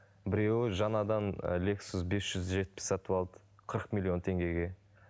біреуі жаңадан лексус без жүз жетпіс сатып алды қырық миллион теңгеге